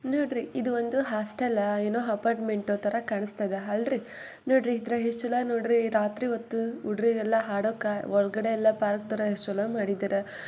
ನೋಡ್ರಿ ಇದು ಒಂದು ಹಾಸ್ಟೆಲ್ ಏನೋ ಅಪಾರ್ಟ್ಮೆಂಟ್ ತರ ಕಾಣಿಸ್ತಾ ಇದೆ ಹಲ್ರಿ ನೊಡ್ರಿ ಇದ್ರಗ ಎಷ್ಟ ಚೊಲೊ ನೊಡ್ರಿ ರಾತ್ರಿ ಹೊತ್ತು ಹುಡ್ರಿಗೆ ಎಲ್ಲಾ ಆಡೋಕ ಪಾರ್ಕ್ ತರ ಎಲ್ಲಾ ಎಷ್ಟ್ ಚಲೋ ಆಗಿ ಮಾಡಿದಿರಾ.